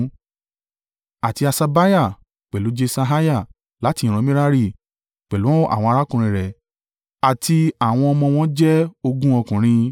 Àti Haṣabiah, pẹ̀lú Jeṣaiah láti ìran Merari, pẹ̀lú àwọn arákùnrin rẹ àti àwọn ọmọ wọ́n jẹ́ ogún ọkùnrin.